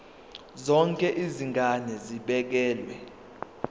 zonke izigaba zibekelwe